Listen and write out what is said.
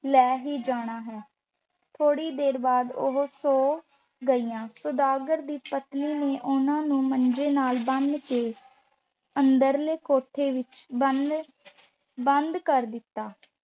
ਲੈ ਹੀ ਜਾਣਾ ਹੈ। ਥੋੜ੍ਹੀ ਦੇਰ ਬਾਅਦ ਉਹ ਸੌਂ ਗਈਆਂ ਸੁਦਾਗਰ ਦੀ ਪਤਨੀ ਨੇ ਉਹਨਾਂ ਨੂੰ ਮੰਜੇ ਨਾਲ ਬੰਨ੍ਹ ਕੇ ਅੰਦਰਲੇ ਕੋਠੇ ਵਿੱਚ ਬੰਦ ਬੰਦ ਕਰ ਦਿੱਤਾ